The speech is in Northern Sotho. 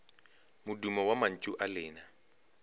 modumo wa mantšu a lena